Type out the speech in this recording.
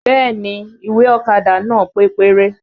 Bẹẹ ni, ìwé ọ̀kadà nàá pé péré